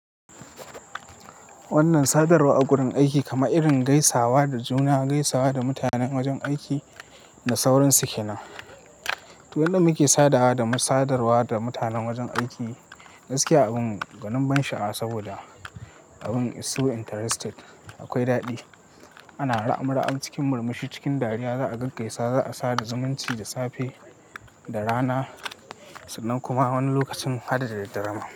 Wannan sadarwa a gurin aiki kamar irin gaisawa da juna, gaisawa da mutanen wajen aiki da sauran su ke nan. To yadda muke sadawa da sadarwa da mutanen wajen aiki gaskiya abin gwanin ban sha'a saboda abin so interested akwai daɗi. Ana ra'a-ra'a cikin murmushi cikin dariya za'a gaggaisa za'a sada zumunci da safe, da rana sannan kuma wani lokacin hada da daddare ma.